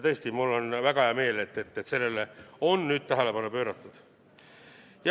Ja mul on tõesti väga hea meel, et sellele on tähelepanu pööratud.